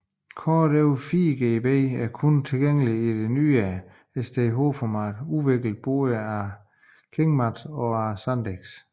Kort over 4GB er kun tilgængelige i det nyere SDHC format udviklet både af KingMax og af SanDisk